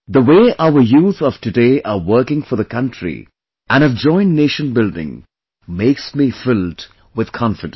The way our youth of today are working for the country, and have joined nation building, makes me filled with confidence